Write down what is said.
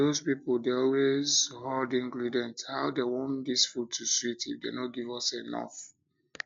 doz people dey always dey horde ingredients how dem want dis food to sweet if dem no give us enough